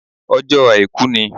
Ọjó àìkú ni